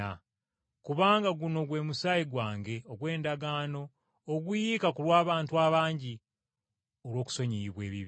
kubanga guno gwe musaayi gwange ogw’endagaano oguyiika ku lw’abantu abangi, olw’okusonyiyibwa ebibi.